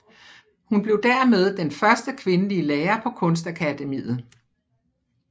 Hun blev dermed den første kvindelige lærer på Kunstakademiet